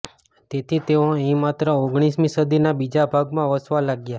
તેથી તેઓ અહીં માત્ર ઓગણીસમી સદીના બીજા ભાગમાં વસવા લાગ્યા